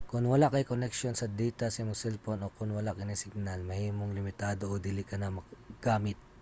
kon wala kay koneksyon sa data sa imong selpon o kon wala kini signal mahimong limitado o dili kana magamit